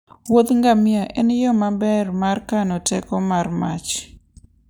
Wuodh ngamia en yo maber mar kano teko mar mach.